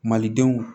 Malidenw